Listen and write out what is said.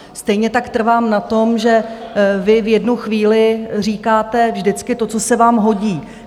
Stejně tak trvám na tom, že vy v jednu chvíli říkáte vždycky to, co se vám hodí.